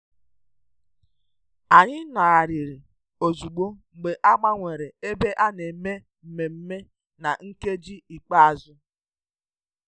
Anyị nọgharịrị ozugbo mgbe a gbanwere ebe a na-eme mmemme na nkeji ikpeazụ